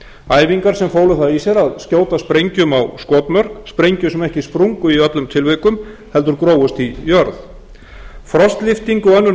æfingar sem fólu það í sér að skjóta sprengjum á skotmörk sprengjum sem ekki sprungu í öllum tilvikum heldur grófust í jörð frostlyfting og önnur